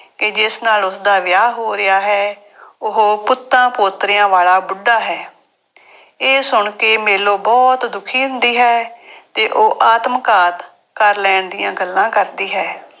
ਕਿ ਜਿਸ ਨਾਲ ਉਸਦਾ ਵਿਆਹ ਹੋ ਰਿਹਾ ਹੈ। ਉਹ ਪੁੱਤਾਂ ਪੋਤਰਿਆਂ ਵਾਲਾ ਬੁੱਢਾ ਹੈ। ਇਹ ਸੁਣ ਕੇ ਮੇਲੋ ਬਹੁਤ ਦੁਖੀ ਹੁੰਦੀ ਹੈ ਤੇ ਉਹ ਆਤਮਘਾਤ ਕਰ ਲੈਣ ਦੀਆਂ ਗੱਲਾਂ ਕਰਦੀ ਹੈ।